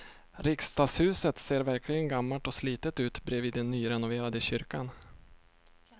Riksdagshuset ser verkligen gammalt och slitet ut bredvid den nyrenoverade kyrkan.